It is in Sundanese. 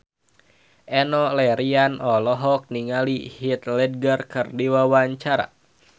Enno Lerian olohok ningali Heath Ledger keur diwawancara